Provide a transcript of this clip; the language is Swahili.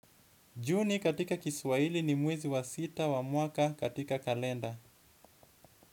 Juni katika Kiswahili ni mwezi wa sita wa mwaka katika kalenda.